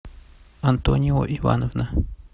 антонио ивановна